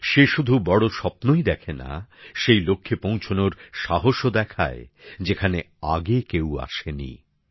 সে শুধু বড় স্বপ্নই দেখে না সেই লক্ষ্যে পৌঁছানোর সাহসও দেখায় যেখানে আগে কেউ আসেনি